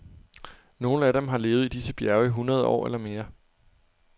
Nogle af dem har levet i disse bjerge i hundrede år eller mere.